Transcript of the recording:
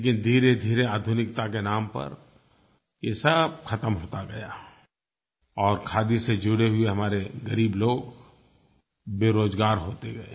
लेकिन धीरेधीरे आधुनिकता के नाम पर ये सब ख़त्म होता गया और खादी से जुड़े हुए हमारे ग़रीब लोग बेरोज़गार होते गए